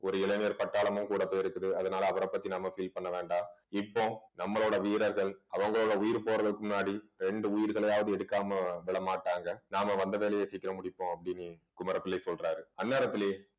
ஒரு இளைஞர் பட்டாளமும் கூட போயிருக்குது அதனால அவரைப் பத்தி நாம feel பண்ண வேண்டாம் இப்போ நம்மளோட வீரர்கள் அவங்களோட உயிர் போறதுக்கு முன்னாடி இரண்டு உயிர்களையாவது எடுக்காமல் விடமாட்டாங்க நாம வந்த வேலையை சீக்கிரம் முடிப்போம் அப்படின்னு குமரப்பிள்ளை சொல்றாரு அந்நேரத்திலே